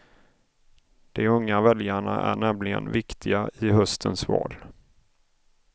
De unga väljarna är nämligen viktiga i höstens val.